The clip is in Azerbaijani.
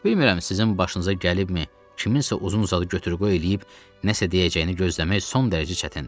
Bilirəm sizin başınıza gəlibmi, kiminsə uzun uzadı götür-qoy eləyib nəsə deyəcəyini gözləmək son dərəcə çətindir.